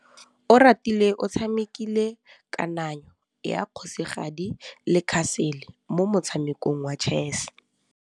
Oratile o tshamekile kananyô ya kgosigadi le khasêlê mo motshamekong wa chess.